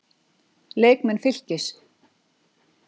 Leikmenn Fylkis